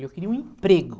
Eu queria um emprego.